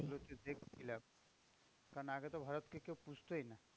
এগুলো যে দেখছিলাম কারণ আগেতো ভারতকে কেউ পুঁছতই না।